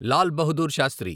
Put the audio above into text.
Lal Bahadur Sastry